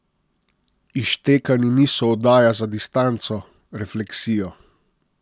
Izštekani niso oddaja za distanco, refleksijo.